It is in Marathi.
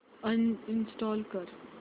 अनइंस्टॉल कर